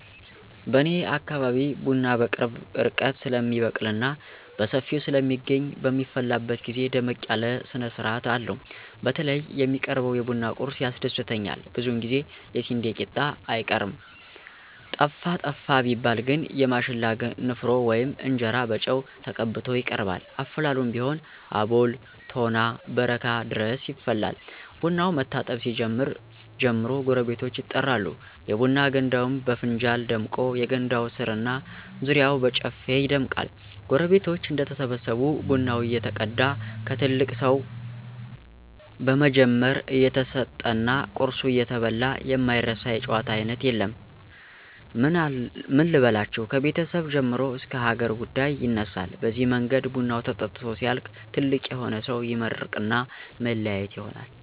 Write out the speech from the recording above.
በኔ አካባቢ ቡና በቅርብ ርቀት ስለሚበቅልና በሰፊው ስለሚገኝ በሚፈላበት ግዜ ደመቅ ያለ ስነስርአት አለው። በተለይ የሚቀርበው የቡና ቁርሱ ያስደስተኛል ብዙውን ጊዜ የስንዴ ቂጣ አይቀርም። ጠፋ ጠፋ ቢባል ግን የማሽላ ንፍሮ ወይም እንጀራ በጨው ተቀብቶ ይቀርባል። አፈላሉም ቢሆን አቦል፣ ቶና፣ በረካ ድረስ ይፈላል። ቡናው መታጠብ ሲጀምር ጀምሮ ጎረቤቶች ይጠራሉ፤ የቡና ገንዳውም በፍንጃል ደምቆ የገንዳው ስር እና ዙሪያው በጨፌ ይደምቃል። ጎረቤቶች እንደተሰበሰቡ ቡናው እየተቀዳ ከትልቅ ሰው በመጀመር እየተሰጠና ቁርሱ እየተበላ የማይነሳ የጨዋታ አይነት የለም። ምን ልበላችሁ ከቤተሰብ ጀምሮ እስከ ሀገር ጉዳይ ይነሳል በዚህ መንገድ ቡናው ተጠጥቶ ሲያልቅ ትልቅ የሆነ ሰው ይመርቅና መለያየት ይሆናል።